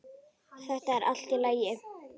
Þetta er allt í lagi.